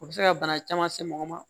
O bɛ se ka bana caman se mɔgɔ ma